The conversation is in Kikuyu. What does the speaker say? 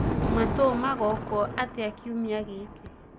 matuu magokwo atĩa kĩumĩa giki